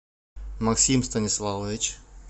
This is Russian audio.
максим станиславович